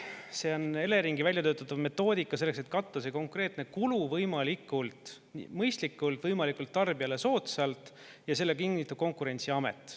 See on Eleringi välja töötatud metoodika selleks, et katta see konkreetne kulu võimalikult mõistlikult, võimalikult tarbijale soodsalt, ja selle kinnitab Konkurentsiamet.